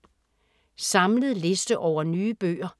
Samlet liste over nye bøger